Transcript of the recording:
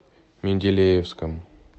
менделеевском